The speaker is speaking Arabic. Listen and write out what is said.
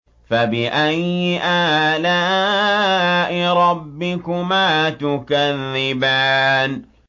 فَبِأَيِّ آلَاءِ رَبِّكُمَا تُكَذِّبَانِ